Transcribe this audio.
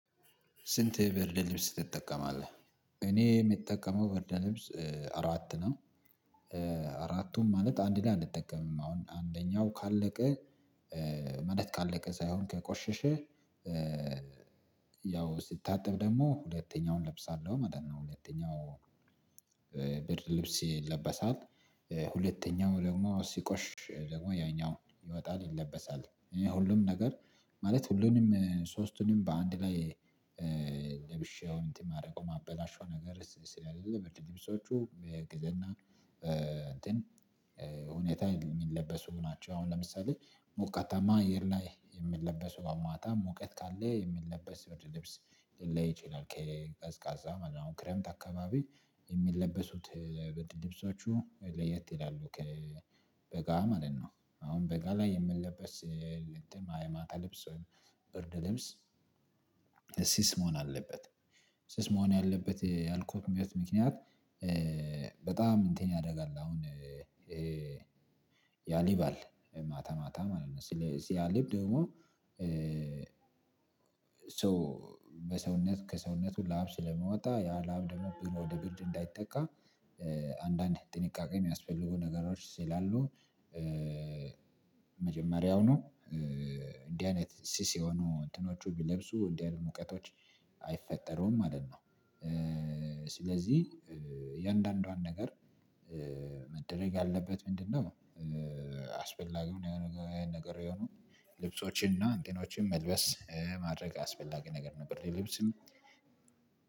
ስንት ብርደ ልብስ ትጠቀማለህ እኔ የምጠቀመው በርደ ልብስ አራት ነው። አራቱም ማለት አንድን አንጠቀምም አሁን አንደኛው ካለቀ ማለት ካለቀ ሳይሆን ከቆሸሸ። ያው ስትታጠብ ደግሞ ሁለተኛውን እለብሳለሁ ማለት ነው። ሁለተኛው ብርድ ልብስ ይለበሳል። ሁለተኛው ደግሞ ሲቆሽሽ ደግሞ ያኛው ይወጣል ይለበሳል። እኔ ሁሉም ነገር ማለት ሁሉንም ሶስቱንም በአንድ ላይ እንትን ማድረጉ ማበላሸው ነገር ስለሌለ ብርድ ልብሶቹ በዕቅድና በእንትን ሁኔታ የሚለበሱ ናቸው። አሁን ለምሳሌ ሞቀታማ አየር ላይ የምንለበሰው ማታ ሙቀት ካለ የሚለበስ ብርድ የልብስ ላይ ሊለይ ይችላል ከቀዝቃዛ ማለት ነው። አሁን ክረምት አካባቢ የሚለበሱት ብርድ ልብሶቹ ለየት ይላሉ ከበጋ ማለት ነው። አሁን በጋ ላይ የሚለበስ። የማታ ልብስ ወይም ብርድ ልብስ ስስ መሆን አለበት። ስስ መሆን አለበት ያልኩበት ምክንያት በጣም እንትን ያደርጋል። አሁን ያልባል ስለዚህ ማታ ማታ ማለት ነው ሲያልብ ደግሞ ሰው በሰውነት ከሰውነቱ ላብ ስለሚወጣ ያ ላብ ደግሞ ወደ ብርድ እንዳይጠቃ። አንዳንድ ጥንቃቄ የሚያስፈልጉ ነገሮች ስላሉ። መጀመሪያውኑ እንዲህ አይነት ስስ የሆኑ እንትኖቹ ቢለብሱ እንዲህ አይነት ሙቀቶች አይፈጠሩም ማለት ነው። ስለዚህ የእያንዳንዷን ነገር መደረግ ያለበት ምንድነው? አስፈላጊው የሆነ ነገር የሆነው ልብሶችንና እንቲኖችን መልበስ ማድረግ አስፈላጊ ነገር ነው። ብርድ ልብስም